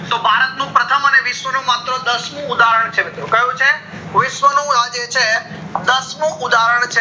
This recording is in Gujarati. તો ભારત નું પ્રથમ અને વિશ્વ નું માત્ર દસ મુ ઉદાહરણ છે મિત્રો કયું છે વિશ્વ નું આ જે છે દસ મુ ઉદાહરણ છે